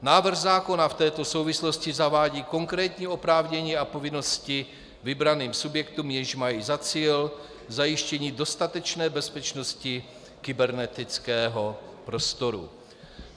Návrh zákona v této souvislosti zavádí konkrétní oprávnění a povinnosti vybraným subjektům, jež mají za cíl zajištění dostatečné bezpečnosti kybernetického prostoru.